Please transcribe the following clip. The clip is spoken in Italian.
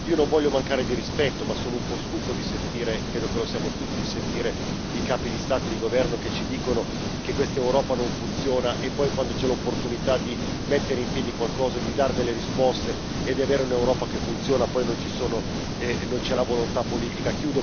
Non voglio mancare di rispetto, ma sono un po' stufo credo che lo siamo tutti di sentire i capi di Stato e di governo che ci dicono che quest'Europa non funziona, e poi quando c'è l'opportunità di mettere in piedi qualcosa, di dare delle risposte e di avere un'Europa che funziona, poi non c'è la volontà politica